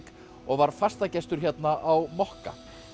og var fastagestur hérna á mokka